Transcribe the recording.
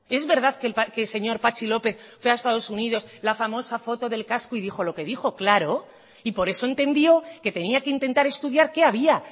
es verdad que el señor patxi lópez fue a estados unidos la famosa foto del casco y dijo lo que dijo claro y por eso entendió que tenía que intentar estudiar qué había